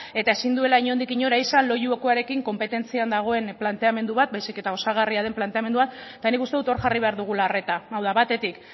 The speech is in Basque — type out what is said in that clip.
eta ezin duela inondik inora izan loiukoarekin konpetentzian dagoen planteamendu bat baizik eta osagarria den planteamendua eta nik uste dut hor jarri behar dugula arreta hau da batetik